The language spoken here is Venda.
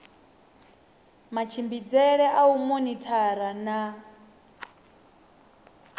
matshimbidzele a u monithara na